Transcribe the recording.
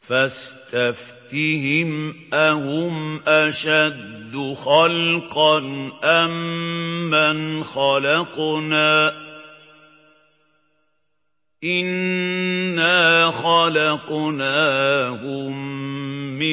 فَاسْتَفْتِهِمْ أَهُمْ أَشَدُّ خَلْقًا أَم مَّنْ خَلَقْنَا ۚ إِنَّا خَلَقْنَاهُم مِّن